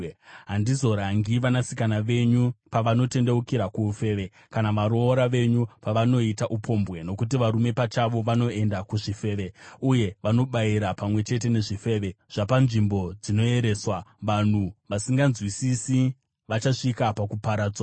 “Handizorangi vanasikana venyu pavanotendeukira kuufeve, kana varoora venyu pavanoita upombwe, nokuti varume pachavo vanoenda kuzvifeve uye vanobayira pamwe chete nezvifeve zvepashongwe, vanhu vasinganzwisisi vachasvika pakuparadzwa.